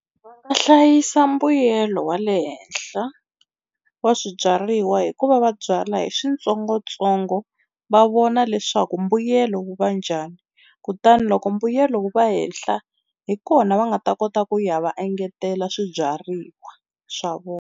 Va nga hlayisa mbuyelo wa le henhla wa swibyariwa hi ku va va byala hi switsongotsongo va vona leswaku mbuyelo wu va njhani, kutani loko mbuyelo wu va hehla hi kona va nga ta kota ku ya va engetela swibyariwa swa vona.